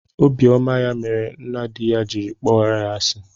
Obiọma ya mere nna di ya jiri kpọrọ ya asi